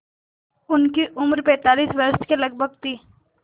उनकी उम्र पैंतालीस वर्ष के लगभग थी